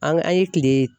An an ye kile